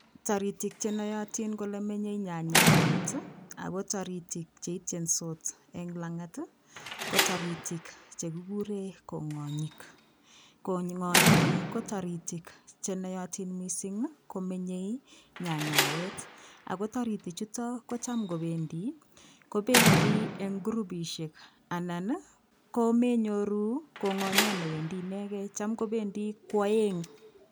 Toritik chenoyotin kole menyei nyanyawet Ako toritik cheitchesot eng langat lol toritik chekikure kong'onyik, kong'onyik ko toritik chenoyotin mising komenyei nyanyawet Ako toriti chuto kocham ngobendi, kobendii eng groupishek anan komenyoruu kong'onyot newendi inegei cham kobendi kooeng.